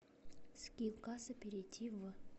скилл касса перейди в